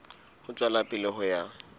ho tswela pele ho ya